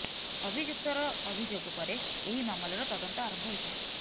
ଅଭିଯୁକ୍ତର ଅଭିଯୋଗ ପରେ ଏହି ମାମଲାର ତଦନ୍ତ ଆରମ୍ଭ ହୋଇଥିଲା